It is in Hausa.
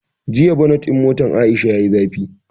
Jiya bonet ɗin motan Aisha yayi zafi